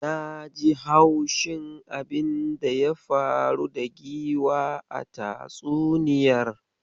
Naji haushin abinda ya faru da giwa a tatsuniyar.